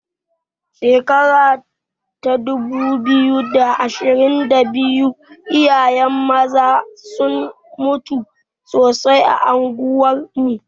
Shekara ta dubu biyu da ashirin da biyu iyaye maza sun mutu sosai a unguwar mu.